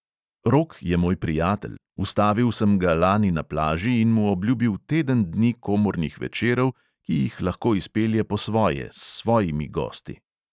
Rok je moj prijatelj, ustavil sem ga lani na plaži in mu obljubil teden dni komornih večerov, ki jih lahko izpelje po svoje, s svojimi gosti ...